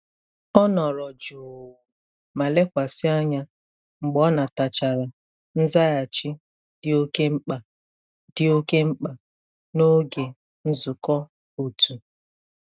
Ọ nọrọ jụụ ma lekwasị anya mgbe ọ natachara nzaghachi dị oke mkpa dị oke mkpa n'oge nzukọ otu.